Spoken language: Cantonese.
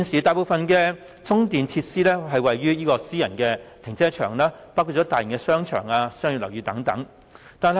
大部分的充電設施位於私人停車場，包括大型商場和商業樓宇。